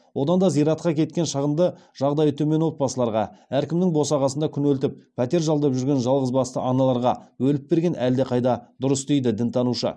одан да зиратқа кеткен шығынды жағдайы төмен отбасыларға әркімнің босағасында күнелтіп пәтер жалдап жүрген жалғызбасты аналарға бөліп берген әлдеқайда дұрыс дейді дінтанушы